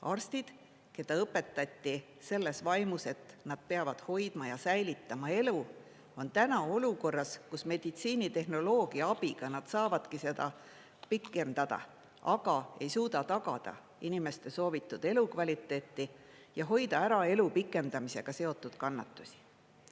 Arstid, keda õpetati selles vaimus, et nad peavad hoidma ja säilitama elu, on täna olukorras, kus meditsiinitehnoloogia abiga nad saavadki seda pikendada, aga ei suuda tagada inimeste soovitud elukvaliteeti ja hoida ära elu pikendamisega seotud kannatusi.